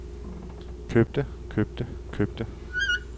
købte købte købte